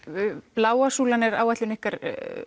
bláa súlan er áætlun ykkar